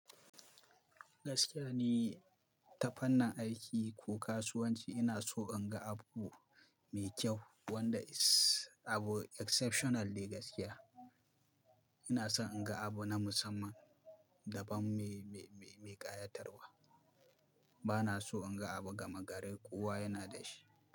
Gaskiya ni, ta fannin aiki ko kasuwanci ina so in ga abu mai kyau wanda abu exceptional ne gaskiya. Ina son in ga abu na musamman da ban mai, mai, mai ƙayatarwa. Ba na so in ga abu gama gari. Kowa yana da shi.